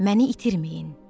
Məni itirməyin.